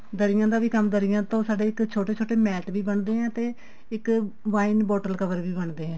ਦਰੀਆਂ ਦਾ ਵੀ ਕੰਮ ਦਰੀਆਂ ਤੋਂ ਸਾਡੇ ਇੱਕ ਛੋਟੇ ਛੋਟੇ mat ਵੀ ਬਣਦੇ ਆ ਤੇ ਇੱਕ wine bottle cover ਵੀ ਬਣਦੇ ਆ